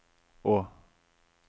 å